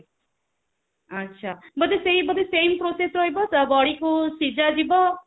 ଆଚ୍ଛା ମତେ ସେଇ ବୋଧେ same process ରହିବ ବଢି କୁ ସିଝା ଯିବ